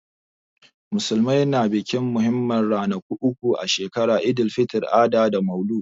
Musulmai na bikin muhimman ranaku uku a shekara, Eid-el-fitr, Adha da Maulud.